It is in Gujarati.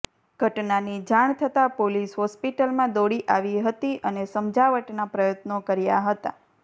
ઘટનાની જાણ થતાં પોલીસ હોસ્પિટલમાં દોડી આવી હતી અને સમજાવટના પ્રયત્નો કર્યા હતા